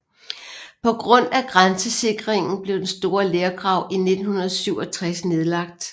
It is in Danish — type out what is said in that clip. På grund af grænsesikringen blev den store lergrav i 1967 nedlagt